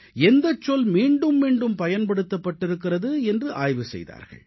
எந்தச் சொல் மீண்டும் மீண்டும் பயன்படுத்தப்பட்டிருக்கிறது என்று ஆய்வு செய்தார்கள்